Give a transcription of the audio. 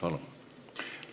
Palun!